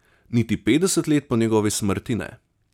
Niti petdeset let po njegovi smrti ne.